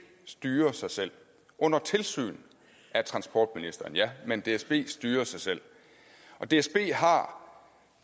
styrer sig selv under tilsyn af transportministeren ja men dsb styrer sig selv og dsb har